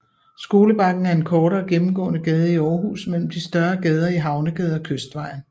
Skolebakken er en kortere gennemgående gade i Aarhus mellem de større gader Havnegade og Kystvejen